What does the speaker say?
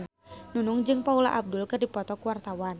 Nunung jeung Paula Abdul keur dipoto ku wartawan